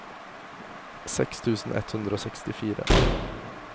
seks tusen ett hundre og sekstifire